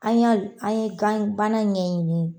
An y'an an ye ganbana in ɲɛɲini